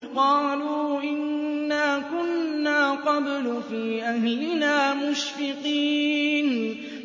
قَالُوا إِنَّا كُنَّا قَبْلُ فِي أَهْلِنَا مُشْفِقِينَ